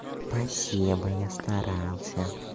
спасибо я старался